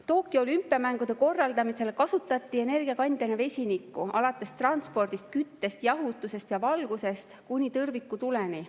Tokyo olümpiamängude korraldamisel kasutati energiakandjana vesinikku alates transpordist, küttest, jahutusest ja valgusest kuni tõrvikutuleni.